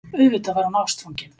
Auðvitað var hún ástfangin.